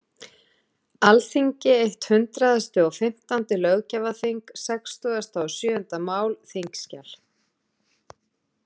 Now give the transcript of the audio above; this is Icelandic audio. Alþingi eitt hundraðasti og fimmtándi löggjafarþing, sextugasta og sjöunda mál, þskj.